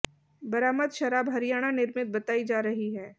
बरामद शराब हरियाणा निर्मित बताई जा रही है